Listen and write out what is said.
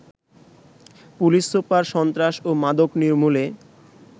police super সন্ত্রাস ও মাদক নির্মূলে